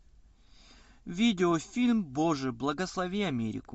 видео фильм боже благослови америку